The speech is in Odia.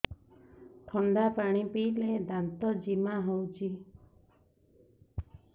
ଥଣ୍ଡା ପାଣି ପିଇଲେ ଦାନ୍ତ ଜିମା ହଉଚି